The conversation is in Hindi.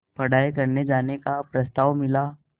पढ़ाई करने जाने का प्रस्ताव मिला